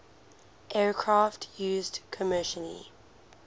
aircraft used commercial